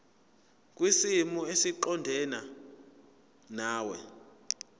kwisimo esiqondena nawe